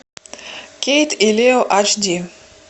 кейт и лео аш ди